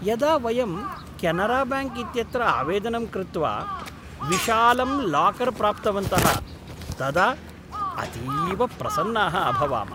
यदा वयं केनराबैङ्क् इत्यत्र आवेदनं कृत्वा विशालं लाकर् प्राप्तवन्तः, तदा अतीव प्रसन्नाः अभवाम।